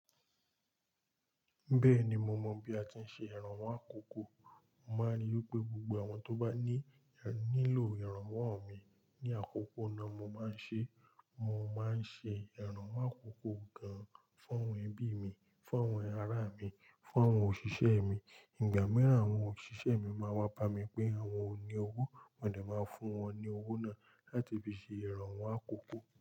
Bẹ́ẹ̀ni, mo mọ̀ bí a ti ń ṣe ìrànwọ́ àkókò. Mo máa ní pé gbogbo àwọn tó bá ní nílò ìrànwọ́ mi ní àkókò náà mo máa ń ṣe. Mo máa ń ṣe ìrànwọ́ àkókò gan-an fún àwọn ẹbí mi, fún àwọn ará mi, fún àwọn òṣìṣẹ́ mi. Ìgbà mìíràn, àwọn òṣìṣẹ́ mi máa wá pa mi pé àwọn ò ní owó, mo dẹ̀ máa fún wọn ní owó náà láti fi ṣe ìrànwọ́ àkókò.